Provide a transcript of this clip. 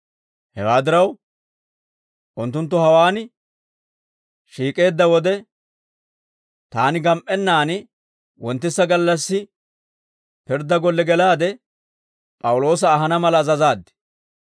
«Hewaa diraw, unttunttu hawaan shiik'eedda wode, taani gam"ennaan wonttisa gallassi, pirddaa golle gelaade P'awuloosa ahana mala azazaad.